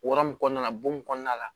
Wara mun kɔnɔna la bon mun kɔnɔna la